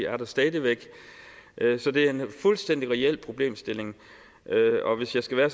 stadig væk er der så det er en fuldstændig reel problemstilling hvis jeg skal være